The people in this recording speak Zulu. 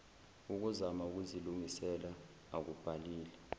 ukuzama ukuzilungisela akubhalile